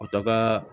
O taga